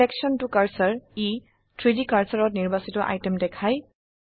selection ত cursor 3ডি কাৰ্সাৰত নিৰ্বাচিত আইটেম দেখায়